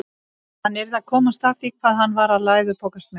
Hann yrði að komast að því hvað hann var að læðupokast með.